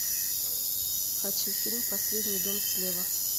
хочу фильм последний дом слева